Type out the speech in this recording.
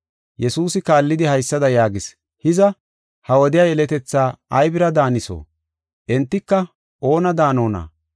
Yesuusi kaallidi haysada yaagis: “Hiza, ha wodiya yeletethaa aybira daaniso? Entika oona daanonna?